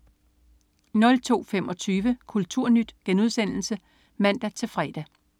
02.25 KulturNyt* (man-fre)